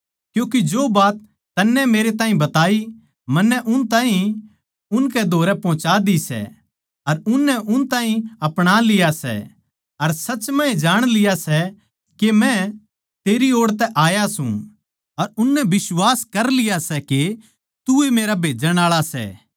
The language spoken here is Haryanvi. क्यूँके जो बात तन्नै मेरै ताहीं बताई मन्नै उन ताहीं उनकै धोरै पहोंच्या दि सै अर उननै उन ताहीं अपणालिया अर सच म्ह ए जाण लिया सै के मै तेरी ओड़ तै आया सूं अर उननै बिश्वास कर लिया सै के तू ए मेरा भेजण आळा सै